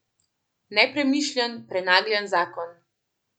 Nepremišljen, prenagljen zakon.